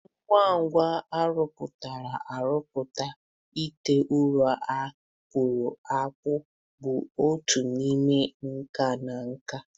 Ngwa ngwa arụpụtara arụpụtara, ite ụrọ a kpụrụ akpụ bụ otu n'ime nka na nka.